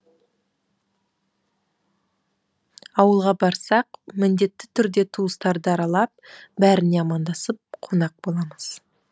ауылға барсақ міндетті түрде туыстарды аралап бәріне амандасып қонақ боламыз